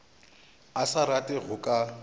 a sa rate go ka